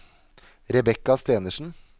Rebecca Stenersen